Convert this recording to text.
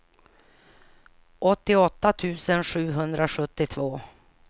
åttioåtta tusen sjuhundrasjuttiotvå